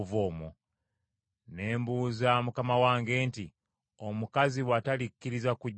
“Ne mbuuza mukama wange nti, ‘Omukazi bw’atalikkiriza kujja nange?’